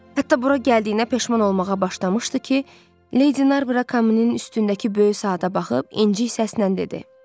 Hətta bura gəldiyinə peşman olmağa başlamışdı ki, Lady Narbor kaminin üstündəki böyük saata baxıb incik səslə dedi.